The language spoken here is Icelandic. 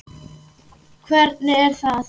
Hvernig er það?